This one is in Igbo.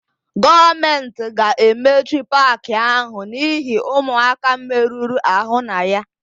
Gọọmentị ga-emechi paakị áhụ̀ n'ihi ụmụaka merụrụ àhụ́ na ya.